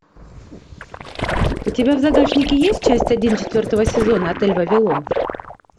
у тебя в загашнике есть часть один четвертого сезона отель вавилон